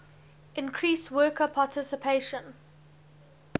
increase worker participation